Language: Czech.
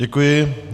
Děkuji.